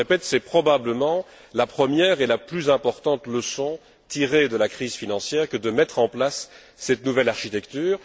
Mais, je le répète, c'est probablement la première et la plus importante leçon tirée de la crise financière que de mettre en place cette nouvelle architecture.